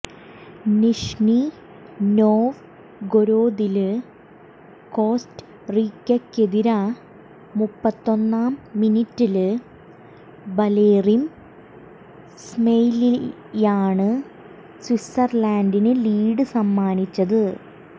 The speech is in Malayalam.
നിഷ്നി നോവ്ഗൊരോദില് കോസ്റ്ററീക്കക്കെതിരെ മുപ്പത്തൊന്നാം മിനിറ്റില് ബലെറിം സെമയ്ലിയാണ് സ്വിറ്റ്സര്ലന്റിന് ലീഡ് സമ്മാനിച്ചത്